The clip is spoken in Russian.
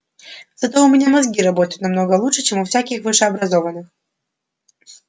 зато у меня мозги работают намного лучше чем у всяких высшеобразованных